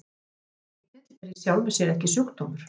Það að vera lítill er í sjálfu sér ekki sjúkdómur.